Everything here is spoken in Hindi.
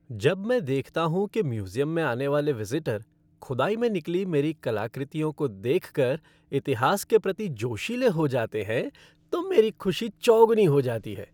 जब मैं देखता हूँ कि म्यूज़ियम में आने वाले विजिटर खुदाई में निकली मेरी कलाकृतियों को देख कर इतिहास के प्रति जोशीले हो जाते हैं तो मेरी खुशी चौगुनी हो जाती है।